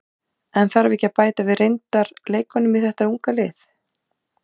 En þarf ekki að bæta við reyndar leikmönnum í þeta unga lið?